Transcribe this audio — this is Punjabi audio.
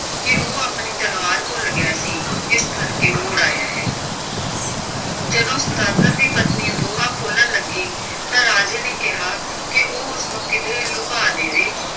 ਕਿ ਉਹ ਆਪਣੀ ਤਲਵਾਰ ਭੁੱਲ ਗਿਆ ਸੀ ਇਸ ਕਰਕੇ ਮੁੜ ਆਇਆ ਹੈ ਜਦੋਂ ਦੀ ਪਤਨੀ ਬੂਹਾ ਖੋਲਣ ਲੱਗੀ ਤਾਂ ਰਾਜੇ ਨੇ ਕਿਹਾ ਕਿ ਉਹ ਉਸਨੂੰ ਕਿਧਰੇ ਲੁਕਾ ਦੇਵੇ,